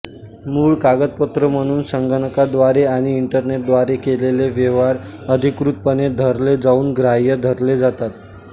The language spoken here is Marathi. मूळ कागदपत्र म्हणून संगणकाद्वारे आणि इंटरनेटद्वारे केलेले व्यवहार अधिकृतपणे धरले जाऊन ग्राह्य धरले जातात